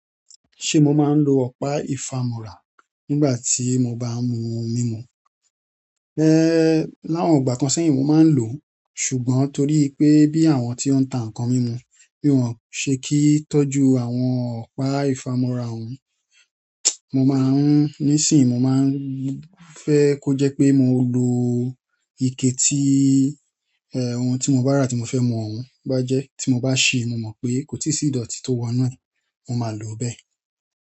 Ṣe mo máa ń lo ọ̀pá ìfàmọ́ra nígbà tí mo bá n mú ohun mímu? Láwọn ìgbà kan sẹ́yìn mo máa ń lò ṣùgbọ́n torí pé bí àwọn tí ó ń ta nǹkan mímu bí wọ́n ṣe kíi tọ́jú àwọn ọ̀pá ìfàmọ́ra wọn, mo máa ń ní isinsinti mo máa ń fẹ́ kó jẹ́ pé mo lo ike tí, ohun tí mo bá rà tí mo fẹ́ mú bá jẹ́. Ti mo ba sii mo mo pe ko tii si idoti to wonu e, mo maa lo bẹ́ẹ̀.